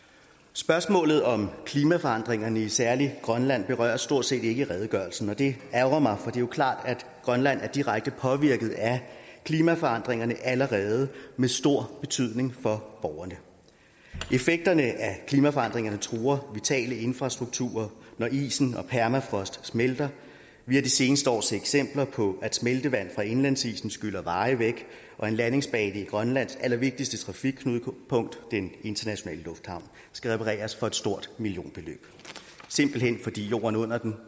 spørgsmålet om klimaforandringerne særlig i grønland berøres stort set ikke i redegørelsen og det ærgrer mig for er jo klart at grønland er direkte påvirket af klimaforandringerne allerede med stor betydning for borgerne effekterne af klimaforandringerne truer vitale infrastrukturer når isen og permafrost smelter vi har de seneste år set eksempler på at smeltevand fra indlandsisen skyller veje væk og en landingsbane i grønlands allervigtigste trafikknudepunkt den internationale lufthavn skal repareres for et stort millionbeløb simpelt hen fordi jorden under den